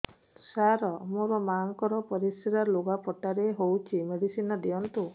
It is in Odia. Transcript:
ସାର ମୋର ମାଆଙ୍କର ପରିସ୍ରା ଲୁଗାପଟା ରେ ହଉଚି ମେଡିସିନ ଦିଅନ୍ତୁ